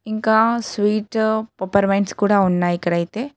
ఇంకా స్వీట్ పోపారామెంట్స్ కూడా ఉన్నాయి ఇక్కడైతే.